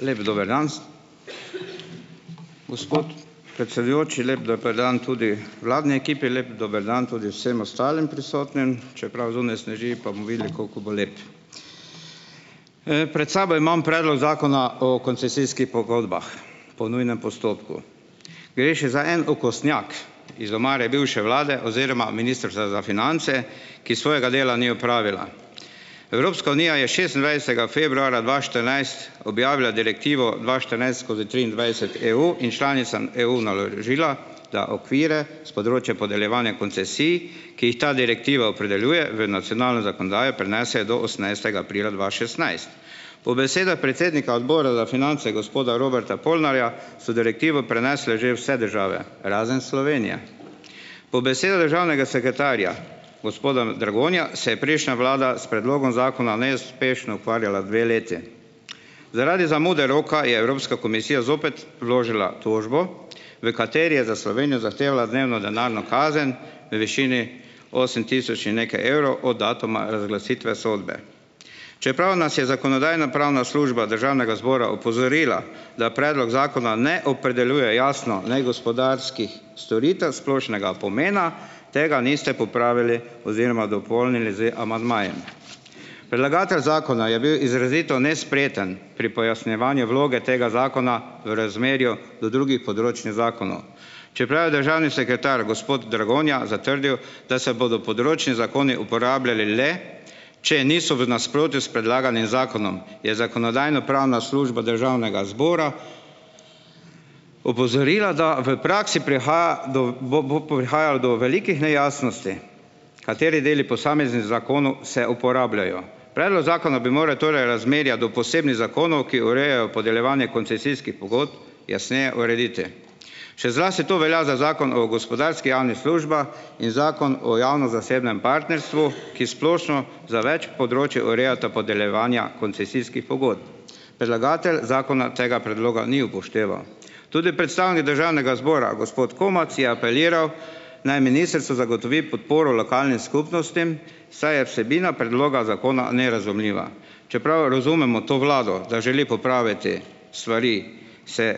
Lep dober dan, gospod predsedujoči, lep dober dan tudi vladni ekipi, lep dober dan tudi vsem ostalim prisotnim, čeprav zunaj sneži, pa bomo videli koliko bo lep. pred sabo imam predlog Zakona o koncesijskih pogodbah po nujnem postopku. Gre še za en okostnjak iz omare bivše vlade oziroma Ministrstva za finance, ki svojega dela ni opravila. Evropska unija je šestindvajsetega februarja dva štirinajst objavila Direktivo dva štirinajst skozi triindvajset EU in članicam EU naložila, da okvire s področja podeljevanja koncesij, ki jih ta Direktiva opredeljuje, v nacionalno zakonodajo prenesejo do osemnajstega aprila dva šestnajst. V besedah predsednika Odbora za finance, gospoda Roberta Polnarja, so Direktivo prenesle že vse države razen Slovenije. Po besedah državnega sekretarja, gospoda Dragonja, se je prejšnja vlada s predlogom Zakona neuspešno ukvarjala dve leti. Zaradi zamude roka je Evropska komisija zopet vložila tožbo, v kateri je za Slovenijo zahtevala dnevno denarno kazen v višini osem tisoč in nekaj evrov od datuma razglasitve sodbe. Čeprav nas je Zakonodajno-pravna služba Državnega zbora opozorila, da predlog Zakona ne opredeljuje jasno negospodarskih storitev splošnega pomena, tega niste popravili oziroma dopolnili z amandmaji. Predlagatelj zakona je bil izrazito nespreten pri pojasnjevanju vloge tega zakona v razmerju do drugih področnih zakonov. Čeprav je državni sekretar, gospod Dragonja, zatrdil, da se bodo področni zakoni uporabljali le, če niso v nasprotju s predlaganim zakonom, je Zakonodajno-pravna služba Državnega zbora opozorila, da v praksi prihaja do bo, bo, bo prihajalo do velikih nejasnosti, kateri deli posameznih zakonov se uporabljajo. Predlog zakona bi moral torej razmerja do posebnih zakonov, ki urejajo podeljevanje koncesijskih pogodb, jasneje urediti. Še zlasti to velja za Zakon o gospodarskih javnih službah in Zakon o javno-zasebnem partnerstvu , ki splošno, za več področij urejata podeljevanja koncesijskih pogodb. Predlagatelj zakona tega predloga ni upošteval. Tudi predstavnik državnega zbora, gospod Komac, je apeliral, naj ministrstvo zagotovi podporo lokalnim skupnostim, saj je vsebina predloga zakona nerazumljiva. Čeprav razumemo to vlado, da želi popraviti stvari, se,